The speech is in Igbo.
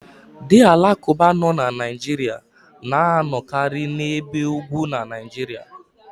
The Alakụba nọ na Naijiria na anọkari n'ebe ugwu na Naijiria.